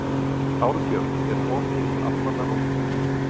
Árbjörg, er opið í Almannaróm?